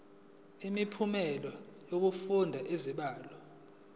imiphumela yokufunda izibalo